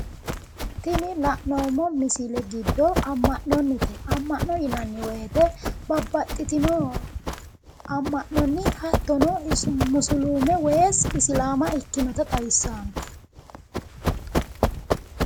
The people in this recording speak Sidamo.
Tini la'noommi misile giddo amma'nonnite amma'no yinanni woyiite babbaxitino amma'nonni hattonni musuluume woyi isilaama ikkionota xawissaante.